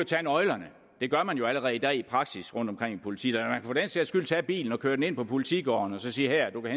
tage nøglerne det gør man jo allerede i dag i praksis rundtomkring i politikredsene den sags skyld tage bilen og køre den ind på politigården og så sige du kan